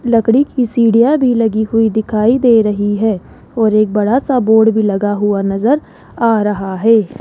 लकड़ी की सीढ़ियां भी लगी हुई दिखाई दे रही है और एक बड़ा सा बोर्ड भी लगा हुआ नजर आ रहा है।